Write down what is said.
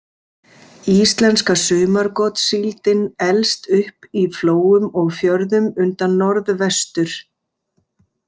Íslenska sumargotssíldin elst upp í flóum og fjörðum undan Norðvestur-.